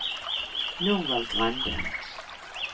Norvald Grande